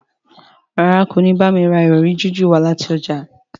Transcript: ràrá kò ní bámi rà Ìrọ̀rí jiju wá láti ọjà.